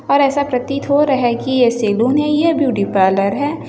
और ऐसा प्रतीत हो रहा है की ये सेलून है या ब्यूटी पार्लर है।